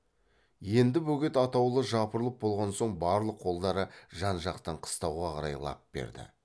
енді бөгет атаулы жапырылып болған соң барлық қолдары жан жақтан қыстауға қарай лап берді